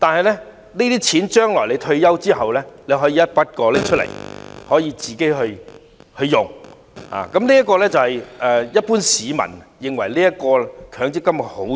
然而，在退休後，市民可以一筆過提取所有強積金權益使用，這是一般市民認為強積金的好處。